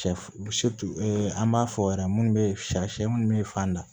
Sɛ an b'a fɔ yɛrɛ minnu bɛ shɛ sɛ minnu bɛ fan dan